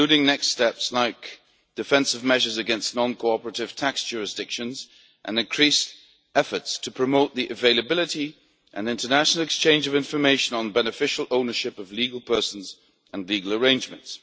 Next steps will include defensive measures against non cooperative tax jurisdictions and increased efforts to promote the availability, and international exchange, of information on beneficial ownership of legal persons and legal arrangements.